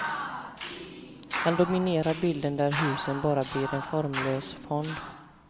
Hon dominerar bilden där husen bara blir en formlös fond.